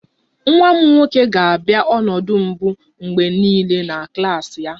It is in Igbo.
Nwa m nwoke ga-abịa ọnọdụ mbụ mgbe niile na klas ya